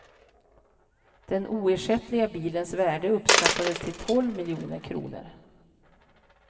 Den oersättliga bilens värde uppskattades till tolv miljoner kronor.